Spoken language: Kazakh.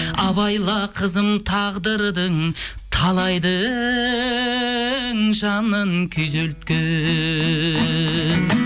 абайла қызым тағдырдың талайдың жанын күйзелткен